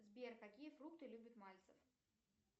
сбер какие фрукты любит мальцев